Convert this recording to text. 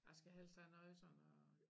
Jeg skal helst have noget sådan og